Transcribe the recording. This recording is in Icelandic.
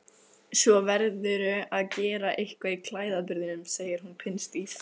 Svo verðurðu að gera eitthvað í klæðaburðinum, segir hún pinnstíf.